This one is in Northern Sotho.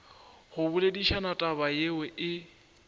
go boledišana taba yeo e